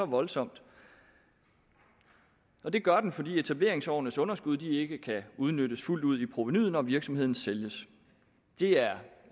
voldsomt og det gør den fordi etableringsårenes underskud ikke kan udnyttes fuldt ud i provenuet når virksomheden sælges det er